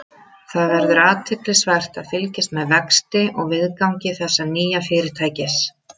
Það verður athyglisvert að fylgjast með vexti og viðgangi þessa nýja fyrirtækis.